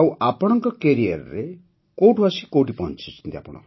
ଆଉ ଆପଣଙ୍କ କ୍ୟାରିୟର୍ କୋଉଠୁ ଆସି କୋଉଠି ପହଞ୍ଚିଛି